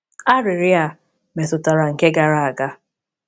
Arịrịọ a metụtara nke gara aga.